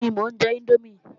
Bẹ́ẹ̀ni, mò ń jẹ índómì